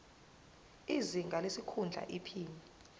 izinga lesikhundla iphini